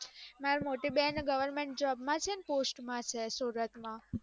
મારી મોટી બેન govermentjob માં છે post માં છે સુરત માં